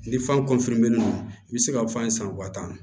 Ni fan nunnu i bi se ka f'an ye san wɔtan